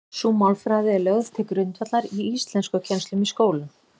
Sú málfræði er lögð til grundvallar í íslenskukennslu í skólum.